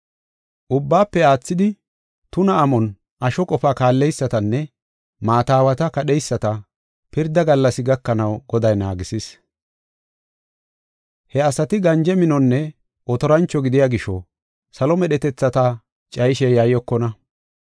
Ubbaafe aathidi tuna amon asho qofa kaalleysatanne maata aawata kadheyisata, pirda gallas gakanaw Goday naagisis. He asati ganje minonne otorancho gidiya gisho, salo medhetethata cayishe yayyokonna.